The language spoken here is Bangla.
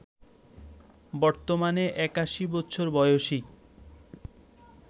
বর্তমানে ৮১ বছর বয়সী